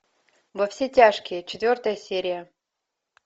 во все тяжкие четвертая серия